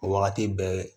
O wagati bɛɛ